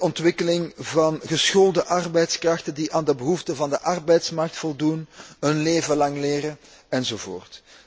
ontwikkeling van geschoolde arbeidskrachten die aan de behoeften van de arbeidsmarkt voldoen, levenslang leren, enzovoorts.